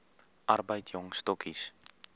arbeid jong stokkies